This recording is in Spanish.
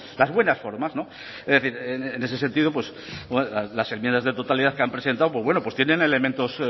las buenas formas es decir en ese sentido pues las enmiendas de totalidad que han presentado pues bueno pues tienen elementos